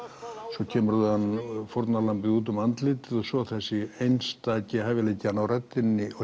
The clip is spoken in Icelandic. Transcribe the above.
svo kemur fórnarlambið út um andlitið og svo þessi einstaki hæfileiki að ná röddinni og